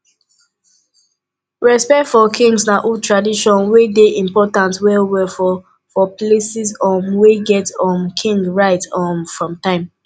respect for kings na old tradition wey dey important well well for for places um wey get um kings right um from time